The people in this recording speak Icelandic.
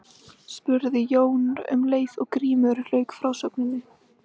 spurði Jón um leið og Grímur lauk frásögninni.